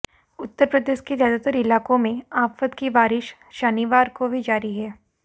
उत्तर प्रदेश के ज्यादातर इलाकों में आफत की बारिश शनिवार को भी जारी है